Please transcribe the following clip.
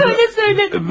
Böyle söyleme.